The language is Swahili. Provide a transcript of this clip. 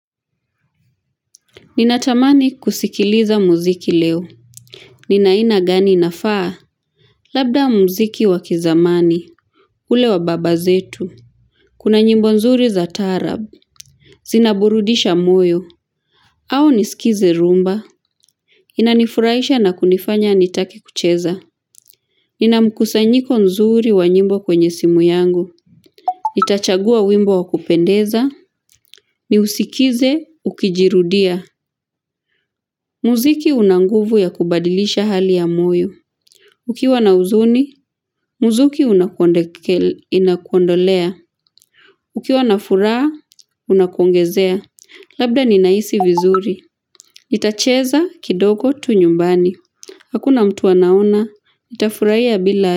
Ninatamani kusikiliza muziki leo. Nina aina gani inafaa? Labda muziki wakizamani. Ule wa baba zetu. Kuna nyimbo nzuri za taarab. Zinaburudisha moyo. Au niskize rumba. Inanifuraisha na kunifanya nitake kucheza. Nina mkusanyiko nzuri wa nyimbo kwenye simu yangu. Itachagua wimbo wa kupendeza. Ni usikize ukijirudia. Muziki una nguvu ya kubadilisha hali ya moyo. Ukiwa na huzuni, muziki unakuondolea. Ukiwa na furaa, unakuongezea. Labda ninaisi vizuri. Nitacheza kidogo tu nyumbani. Hakuna mtu anaona, nitafuraia bila.